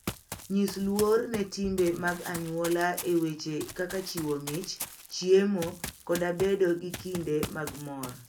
Nyis luor ne timbe mag anyuola e weche kaka chiwo mich, chiemo, koda bedo gi kinde mag mor.